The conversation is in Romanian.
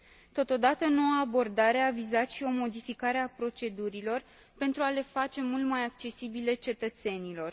Totodată, noua abordare a vizat și o modificare a procedurilor, pentru a le face mult mai accesibile cetățenilor.